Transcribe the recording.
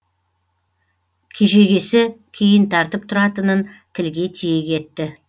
кежегесі кейін тартып тұратынын тілге тиек етті